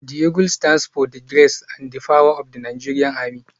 The eagle stands for the grace and power of the Nigeria army.